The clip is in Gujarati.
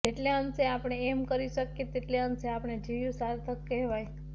જેટલે અંશે આપણે એમ કરી શકીએ તેટલે અંશે આપણે જીવ્યું સાર્થક કહેવાય